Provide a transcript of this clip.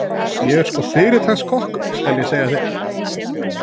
Ég er sko fyrirtaks kokkur, skal ég segja þér.